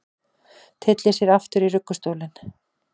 Tyllir sér aftur í ruggustólinn.